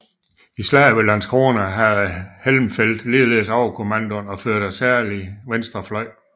I Slaget ved Landskrona havde Helmfelt ligeledes overkommandoen og førte særlig venstre fløj